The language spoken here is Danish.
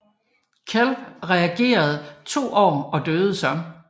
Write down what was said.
Og Cleph regerede to år og døde så